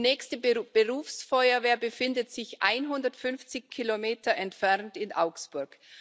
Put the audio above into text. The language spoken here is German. die nächste Berufsfeuerwehr befindet sich 150 Kilometer entfernt in Augsburg.